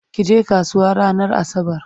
kije kasuwa ranar asabar!